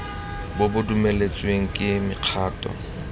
bo bo dumeletsweng ke mekgatlho